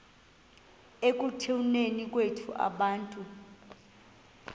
ekutuneni kwethu abantu